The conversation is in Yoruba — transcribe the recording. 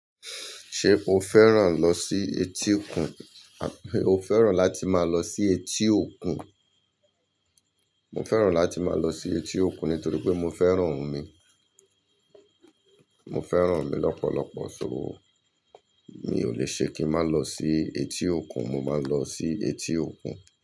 Ṣé o fẹ́ràn lọ sí etí òkun? Àbí o fẹ́ràn láti máa lọ sí etí òkun? Mo fẹ́ràn láti máa lọ sí etí òkun nítorí pé mo fẹ́ràn omi. Mo fẹ́ràn omi lọ́pọ̀lọpọ̀ so. Mi ò lè ṣe kí ń má lọ sí etí òkun, mo máa lọ sí etí òkun.